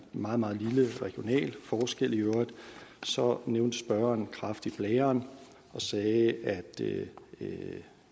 meget meget lille regional forskel så nævnte spørgeren kræft i blæren og sagde at det